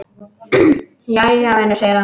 Jæja, vinur segir hann.